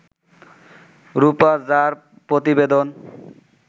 রূপা ঝা-র প্রতিবেদন